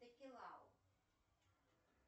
текилау